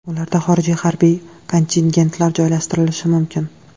Ularda xorijiy harbiy kontingentlar joylashtirilishi mumkin.